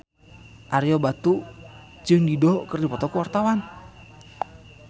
Ario Batu jeung Dido keur dipoto ku wartawan